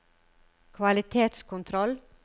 kvalitetskontroll